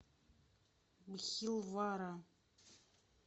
бхилвара